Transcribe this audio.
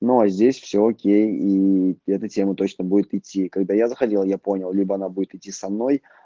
но здесь все окей ии эта теау точно будет идти когда я заходил я понял либо она будет идти со мной